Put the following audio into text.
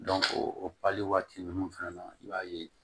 o pali waati ninnu fɛnɛ na i b'a ye